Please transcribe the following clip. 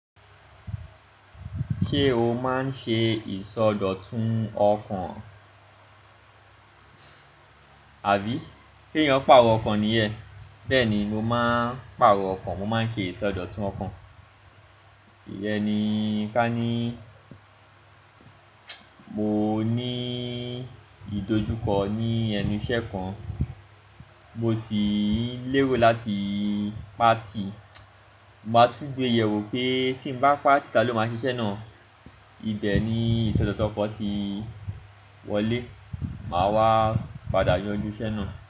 Ṣé o máa ń ṣe ìsọdọ̀tun ọkàn? Àbí kí èèyàn paarò ọkàn nìyẹn. Bẹ́ẹ̀ni, mo máa ń paàrọ̀ ọkàn, mo máa ń ṣe ìsọdọ̀tun ọkàn. Ìyẹn ni ká ní, mo ní ìdojúkọ ní ẹnu ìṣẹ́ kan, mo sì n lérò láti pàtì. Máa túngbẹ́ yẹ̀ wò pé tí mo bá pàtì, ta ló máa ṣe iṣẹ́ náà. Ibẹ̀ ni ìsọdọ̀tun ọkan ti wọlé, màá wá padà yanjú iṣẹ́ náà.